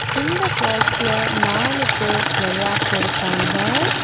இந்த ஃபால்ஸ்ல நாலு பேரு வெளையாட்டு இருக்காங்க.